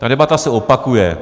Ta debata se opakuje.